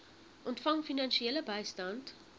ontvang finansiële bystand